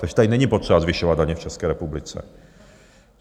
Takže tady není potřeba zvyšovat daně v České republice.